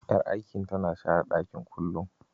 Yar aikin tana share ɗakin kullum.